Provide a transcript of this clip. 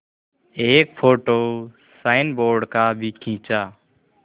एक photo signboard का भी खींचा